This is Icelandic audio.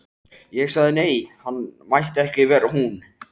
Ég sagði nei, hann mætti vera en ekki hún.